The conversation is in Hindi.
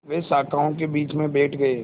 वे शाखाओं के बीच में बैठ गए